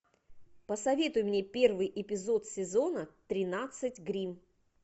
посоветуй мне первый эпизод сезона тринадцать гримм